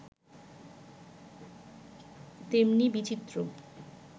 তেমনি বিচিত্র